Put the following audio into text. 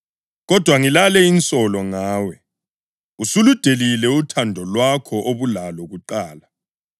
Kodwa ngilale insolo ngawe: Usuludelile uthando lwakho obulalo kuqala.